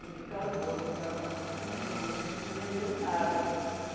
não ficaram boas, ficaram cima, então a gente não vendeu nada.